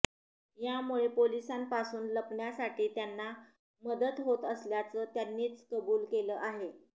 यामुळे पोलिसांपासून लपण्यासाठी त्यांना मदत होत असल्याचं त्यांनीच कबुल केलं आहे